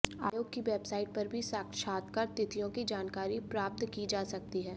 आयोग की वेबसाइट पर भी साक्षात्कार तिथियों की जानकारी प्राप्त की जा सकती है